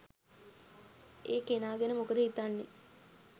ඒ කෙනා ගැන මොකද හිතන්නේ.